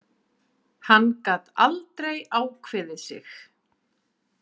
Hann gat aldrei ákveðið sig.